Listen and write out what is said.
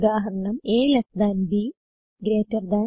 ഉദാഹരണം160 a ൽട്ട് b greater താൻ